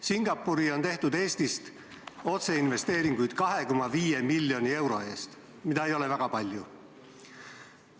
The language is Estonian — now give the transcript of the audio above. Singapuri on Eestist otseinvesteeringuid tehtud 2,5 miljoni euro ulatuses, mida ei ole väga palju.